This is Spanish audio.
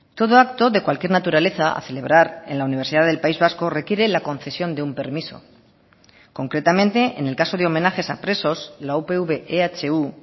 todo acto de cualquier naturaleza a celebrar en la universidad del país vasco requiere la concesión de un permiso concretamente en el caso de homenajes a presos la upv ehu